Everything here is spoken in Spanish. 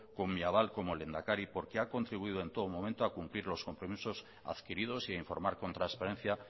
con mi aval como lehendakari porque ha contribuido en todo momento a cumplir los compromisos adquiridos y a informar con transparencia